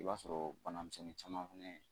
I b'a sɔrɔ bana misɛnnin caman fɛnɛ